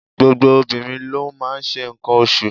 Gbogbo obìnrin ló n máa n se ǹkan osù